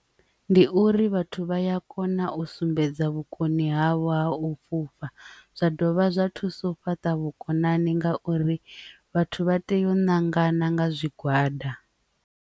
Ndi uri vhathu vha ya kona u sumbedza vhukoni havho ha u fhufha zwa dovha zwa thusa u fhaṱa vhukonani ngauri vhathu vha tea u ṅangani nga zwigwada.